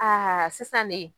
Aa sisan de.